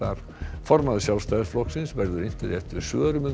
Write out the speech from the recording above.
formaður Sjálfstæðisflokksins verður inntur eftir svörum um